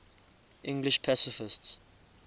english pacifists